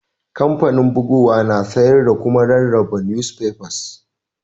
Kampanin bugowa na sayar da kuma rarraba nusfefas.